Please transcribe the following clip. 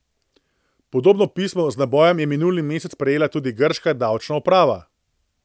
Podobno pismo z nabojem je minuli mesec prejela tudi grška davčna uprava.